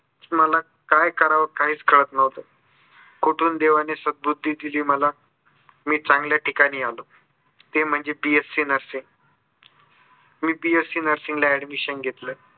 मला काय कराव काहीच कळत नव्हतं कुठून देवांन सदबुद्धी दिली मला मी चांगल्या ठिकाणी आलो. ते म्हणजे B. sc Nursing मी B. Sc Nursing ला admission घेतलं.